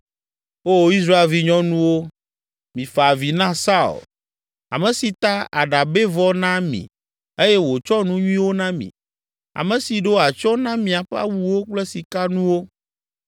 “O Israel vinyɔnuwo, mifa avi na Saul ame si ta aɖabɛvɔ na mi eye wòtsɔ nu nyuiwo na mi ame si ɖo atsyɔ̃ na miaƒe awuwo kple sikanuwo.